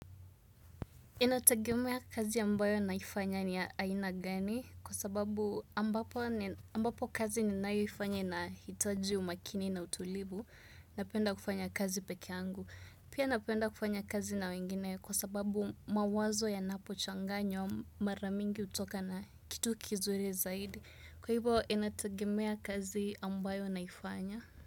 Inatagemea kazi ambayo naifanya ni ya aina gani kwa sababu ambapo kazi ninayoifanya nahitaji umakini na utulivu napenda kufanya kazi peke yangu. Pia napenda kufanya kazi na wengine kwa sababu mawazo yanapochanganywa mara mingi hutoka na kitu kizuri zaidi. Kwa hivyo inatagemea kazi ambayo naifanya.